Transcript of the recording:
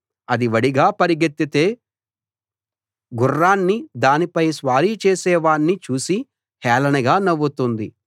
అది వడిగా పరిగెత్తితే గుర్రాన్ని దానిపై స్వారీ చేసే వాణ్ణి చూసి హేళనగా నవ్వుతుంది